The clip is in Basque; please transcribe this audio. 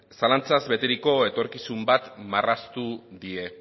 zalantzaz beteriko etorkizun bat marraztu die